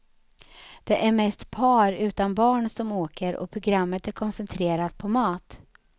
Det är mest par utan barn som åker och programmet är koncentrerat på mat.